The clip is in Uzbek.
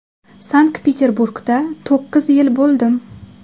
Sankt-Peterburgda to‘qqiz yil bo‘ldim.